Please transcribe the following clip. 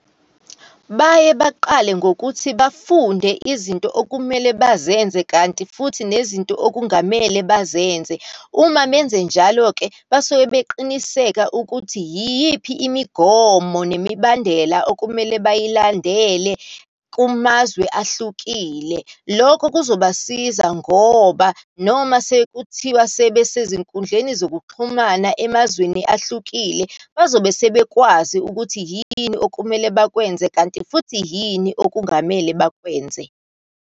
Baye baqale ngokuthi bafunde izinto okumele bazenze, kanti futhi nezinto okungamele bazenze. Uma benzenjalo-ke basuke beqiniseka ukuthi yiyiphi imigomo nemibandela okumele bayilandele kumazwe ahlukile. Lokho kuzobasiza ngoba noma sekuthiwa sebesezinkundleni zokuxhumana emazweni ahlukile, bazobe sebekwazi ukuthi yini okumele bakwenze, kanti futhi yini okungamele bakwenze.